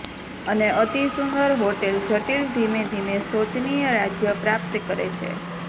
અને અતિસુંદર હોટેલ જટિલ ધીમે ધીમે શોચનીય રાજ્ય પ્રાપ્ત કરે છે